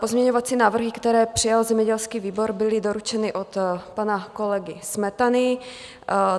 Pozměňovací návrhy, které přijal zemědělský výbor, byly doručeny od pana kolegy Smetany.